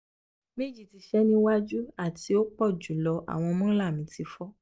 meji ti se ni waju ati upojulo awon molar mi ti fo